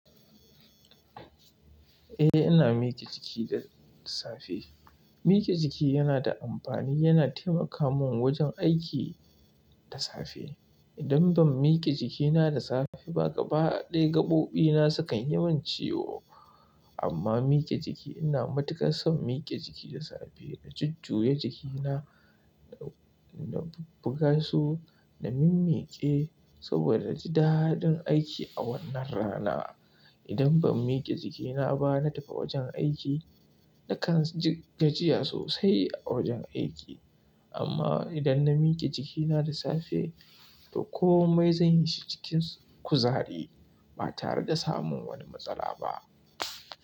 Eh, ina mike jiki da safe. Mike jiki yana da amfani, yana taimaka mun wajen aiki da safe. Idan ban mike jikina da safe ba, gaba ɗaya gaɓoɓina sukan yi min ciwo. Amma mike jiki ina matuƙar son mike jiki da safe, na jujjuya jikina, na buga su, na mimmiƙe saboda ji daɗin aiki a wannan rana. Idan ban mike jikina ba na tafi wajen aiki, nakan ji gajiya sosai a wajen aiki. Amma idan na mike jikina da safe to komai zan yi shi cikin kuzari ba tare da samun wani matsala ba.